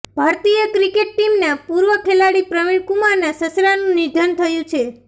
ભારતીય ક્રિકેટ ટીમના પૂર્વ ખેલાડી પ્રવિણ કુમારના સસરાનું નિધન થયું છે